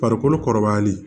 Farikolo kɔrɔbayalen